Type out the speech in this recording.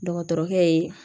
Dɔgɔtɔrɔkɛ ye